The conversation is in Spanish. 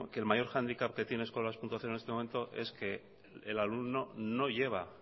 que el mayor handicap que tiene eskola dos punto cero en esto momento es que el alumno no lleva